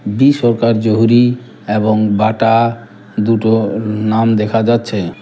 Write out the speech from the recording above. B Sarkar জহুরী এবং Bata দুটো না-নাম দেখা যাচ্ছে।